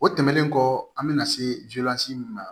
O tɛmɛnen kɔ an bɛna se min ma